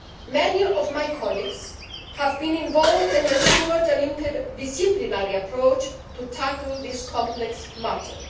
Many of my colleagues have been involved and have ensured an inter disciplinary approach to tackle this complex matter.